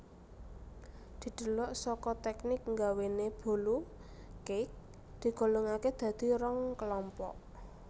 Didelok saka teknik nggawéne bolu cake digolongakè dadi rong kelompok